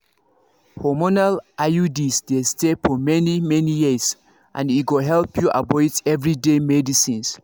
hormonal iuds dey stay for many-many years e go help you avoid everyday medicines